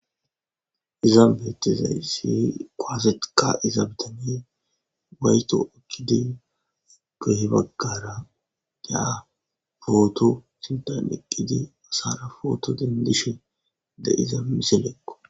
Izan beettida issi kuwase ka'iza issi ubbay tokida kili baggara poto sinthan eqqidi poto dendishe de'ida misileko.